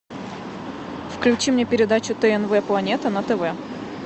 включи мне передачу тнв планета на тв